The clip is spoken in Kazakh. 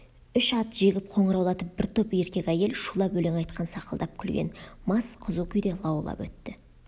үш ат жегіп қоңыраулатып бір топ еркек әйел шулап өлең айтқан сақылдап күлген мас қызу күйде лаулап өтті